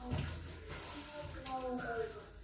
Sömu bláu augun.